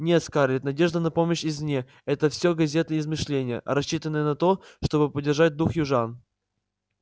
нет скарлетт надежда на помощь извне это всё газетные измышления рассчитанные на то чтобы поддержать дух южан